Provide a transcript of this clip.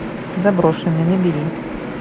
заброшенный набери